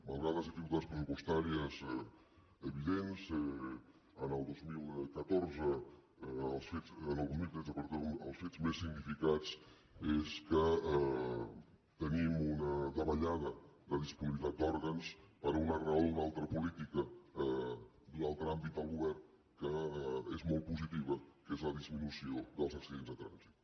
malgrat les dificultats pressupostàries evidents el dos mil tretze el fet més significat és que tenim una davallada de disponibilitat d’òrgans per una raó d’una altra política d’un altre àmbit del govern que és molt positiva que és la disminució dels accidents de trànsit